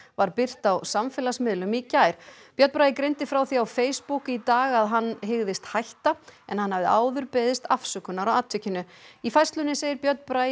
var birt á samfélagsmiðlum í gær björn Bragi greindi frá því á Facebook í dag að hann hygðist hætta en hann hafði áður beðist afsökunar á atvikinu í færslunni segir Björn Bragi